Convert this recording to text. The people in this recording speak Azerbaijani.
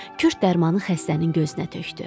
Kürd dərmanı xəstənin gözünə tökdü.